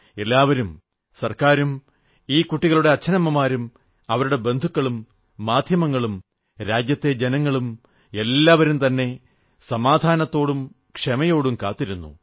എല്ലാവരും ഗവൺമെന്റും ഈ കുട്ടികളുടെ അച്ഛനമ്മമാരും അവരുടെ ബന്ധുക്കളും മാധ്യമങ്ങളും രാജ്യത്തെ ജനങ്ങളും എല്ലാവരുംതന്നെ സമാധാനത്തോടും ക്ഷമയോടും കാത്തിരുന്നു